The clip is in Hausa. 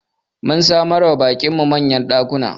Mun samar wa baƙin mu manyan ɗakuna